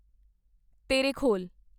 Terekhol